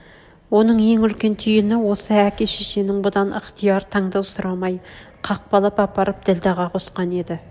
оның ең үлкен түйін осы әке-шешенң бұдан ықтияр таңдау сұрамай қақпалап апарып ділдәға қосқаны еді